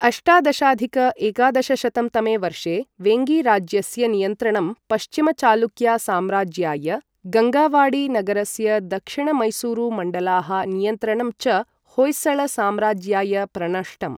अष्टादशाधिक एकादशशतं तमे वर्षे, वेङ्गी राज्यस्य नियन्त्रणं पश्चिमचालुक्या साम्राज्याय, गङ्गावाडी नगरस्य दक्षिणमैसूरुमण्डलाः नियन्त्रणं च होय्सळ साम्राज्याय प्रणष्टम्।